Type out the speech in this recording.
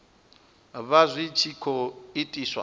vha zwi tshi khou itiswa